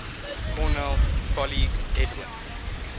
cornell colleague edwin